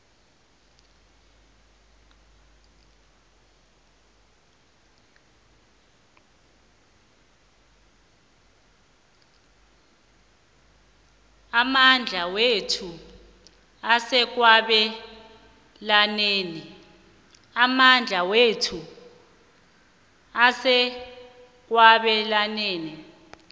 amandla wethu asekwabelaneni